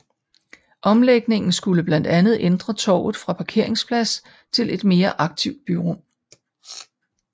Omlægningen skulle blandt andet ændre torvet fra parkeringsplads til et mere aktivt byrum